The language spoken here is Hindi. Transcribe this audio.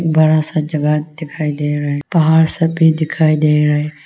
बड़ा सा जगह दिखाई दे रहा है पहाड़ सब भी दिखाई दे रहा है।